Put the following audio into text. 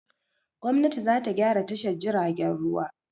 Gwamnati za ta gyra tashar jiagen ruwa.